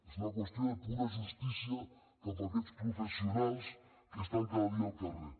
és una qüestió de pura justícia cap a aquests professionals que estan cada dia al carrer